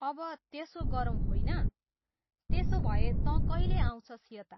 अब त्यसो गरौँ होइन? त्यसो भए तँ कहिले आउँछस् यता?